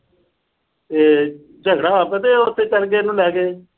ਤੇ ਝਗੜਾ ਪਤਾ ਉਥੇ ਚਲੇ ਗਏ, ਇਹਨੂੰ ਲੈ ਗਏ।